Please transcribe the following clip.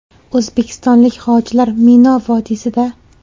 O‘zbekistonlik hojilar Mino vodiysida.